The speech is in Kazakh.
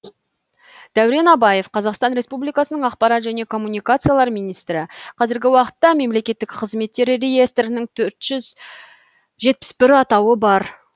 дәурен абаев қазақстан республикасының ақпарат және коммуникациялар министрі қазіргі уақытта мемлекеттік қызметтер реестрінің төрт жүз жетпіс бір атауы бар